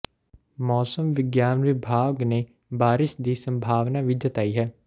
ਮੌਸਮ ਵਿਗਿਆਨ ਵਿਭਾਗ ਨੇ ਬਾਰਸ਼ ਦੀ ਸੰਭਾਵਨਾ ਵੀ ਜਤਾਈ ਹੈ